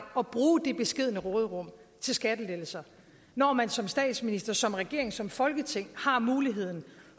at bruge det beskedne råderum til skattelettelser når man som statsminister som regering som folketing har muligheden